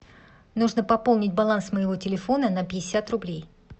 нужно пополнить баланс моего телефона на пятьдесят рублей